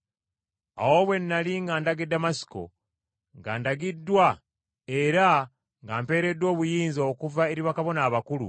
“Awo bwe nnali nga ndaga e Damasiko, nga ndagiddwa era nga mpeereddwa obuyinza okuva eri bakabona abakulu,